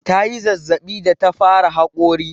Ta yi zazzaɓi da ta fara haƙori.